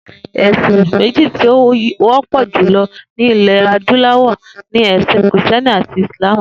È̩sìn mé̩jì tí ó wó̩pò̩ jùlo̩ ní ilè̩ adúló̩wò̩ ni È̩sìn Krìsté̩ni àti Ìsláàmù